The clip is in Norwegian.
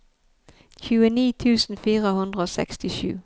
tjueni tusen fire hundre og sekstisju